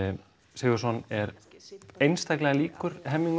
Sigurðsson er einstaklega líkur